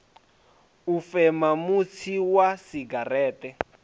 u fema mutsi wa segereṱe